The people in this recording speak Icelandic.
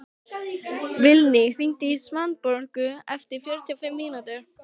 Vilný, hringdu í Svanborgu eftir fjörutíu og fimm mínútur.